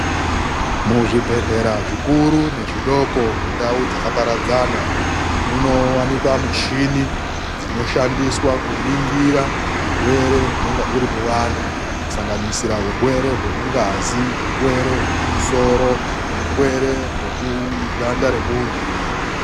MUZVIBEHLERA ZVIKURU NEZVIDOKO MUNDAU DZAKAPARADZA, MUNOWAKIKWA MICHINI DZINOSHANDISWA KUNINGIRA HURWERE HUNENGE HURI MUVANHU KUSANGANISIRA HURWERE HWEMUNGAZI, HURWERE HWEMUMUSORO, HURWERE HWEMUGANDA REMUNHU.